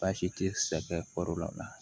Baasi tɛ sɛgɛn kɔrɔ la